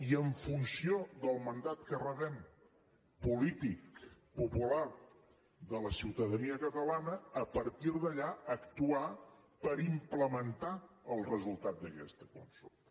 i en funció del mandat que rebem polític popular de la ciutadania catalana a partir d’allà actuar per implementar els resultat d’aquesta consulta